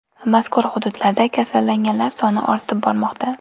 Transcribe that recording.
Mazkur hududlarda kasallanganlar soni ortib bormoqda.